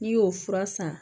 N'i y'o fura san